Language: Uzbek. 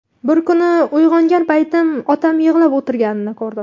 Bir kuni uyg‘ongan paytim otam yig‘lab o‘tirganini ko‘rdim.